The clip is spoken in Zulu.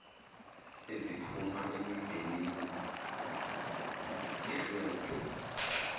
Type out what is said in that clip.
eziphuma emindenini ehlwempu